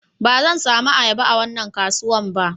Ba zan samu ayaba a wannan kasuwan ba